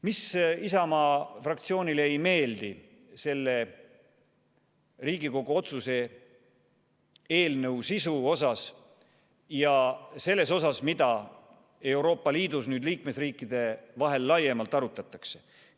Mis Isamaa fraktsioonile ei meeldi selle Riigikogu otsuse eelnõu sisus ja selles, mida Euroopa Liidus liikmesriikide vahel laiemalt arutatakse?